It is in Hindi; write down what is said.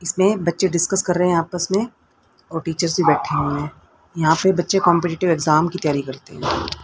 इसमे बच्चे डिसकस कर रहे है आपस में और टीचर भी बैठे हुए हैं यहा पे बच्चे कॉम्पटेटीव एग्जाम की तैयरी करते है।